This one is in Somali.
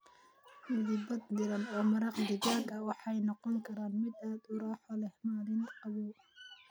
Madiibad diirran oo maraq digaag ah waxay noqon kartaa mid aad u raaxo leh maalin qabow.